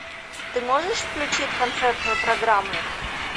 ты можешь включить концертную программу